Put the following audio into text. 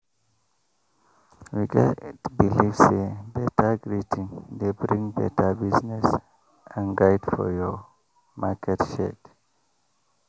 we get believe say beta greeting dey bring beta business and guide for your market shade